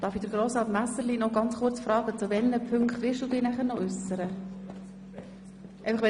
Darf sich Grossrat Messerli kurz fragen, zu welchen Punkten er sich nachher noch äussern wird?